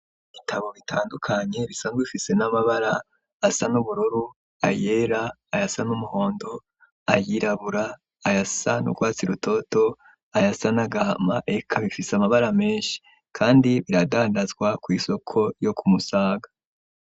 Ibitabo bitandukanye bisanzwe bifise n'amabara asa n'ubururu ayera aya sa n'umuhondo ayirabura ayasa nukwatsi rutoto aya sa nagahma ek bifise amabara menshi kandi biradandazwa kw'isoko yo kumusaga.